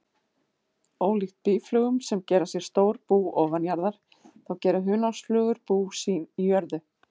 Ólíkt býflugum sem gera sér stór bú ofanjarðar, þá gera hunangsflugur bú sín í jörðu.